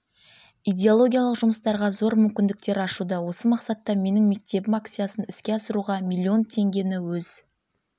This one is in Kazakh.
идеологиялық жұмыстарға зор мүмкіндіктер ашуда осы мақсатта менің мектебім акциясын іске асыруға миллион теңгені өз